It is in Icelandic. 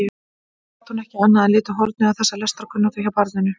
Þó gat hún ekki annað en litið hornauga þessa lestrarkunnáttu hjá barninu.